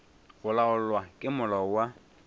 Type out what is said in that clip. go laolwa ke molao wa